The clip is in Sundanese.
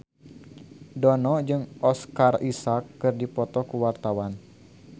Dono jeung Oscar Isaac keur dipoto ku wartawan